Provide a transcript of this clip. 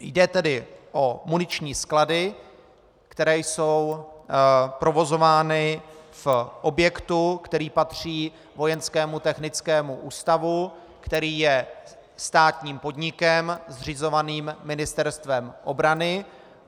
Jde tedy o muniční sklady, které jsou provozovány v objektu, který patří Vojenskému technickému ústavu, který je státním podnikem zřizovaným Ministerstvem obrany.